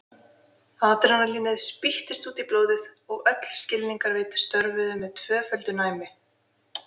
Adrenalínið spýttist út í blóðið og öll skilningarvit störfuðu með tvöföldu næmi.